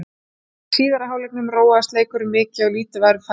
Í síðari hálfleiknum róaðist leikurinn mikið og lítið var um færi.